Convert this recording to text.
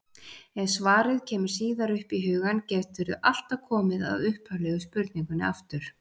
Ef svarið kemur síðar upp í hugann geturðu alltaf komið að upphaflegu spurningunni aftur.